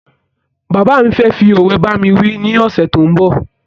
Bàbá fẹ fí ọ̀we bámi wí ni ọsẹ tó ń bọ̀